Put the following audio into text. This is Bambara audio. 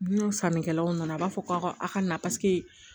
N'o sannikɛlaw nana a b'a fɔ ko a ka na